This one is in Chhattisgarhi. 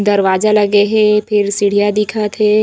दरवाजा लगे हे फिर सीढ़िया दिखत हे।